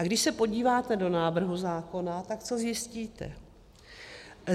A když se podíváte do návrhu zákona, tak co zjistíte?